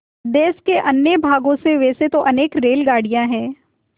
देश के अन्य भागों से वैसे तो अनेक रेलगाड़ियाँ हैं